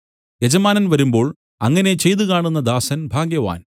യജമാനൻ വരുമ്പോൾ അങ്ങനെ ചെയ്തു കാണുന്ന ദാസൻ ഭാഗ്യവാൻ